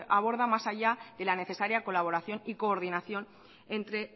aborda más allá de la necesaria colaboración y coordinación entre